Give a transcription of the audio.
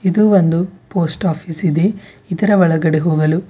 ಇದು ಒಂದು post office ಇದೆ ಇದರ ಒಳಗಡೆ ಹೋಗಲು --